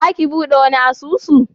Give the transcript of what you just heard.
Za ki buɗe wani asusun?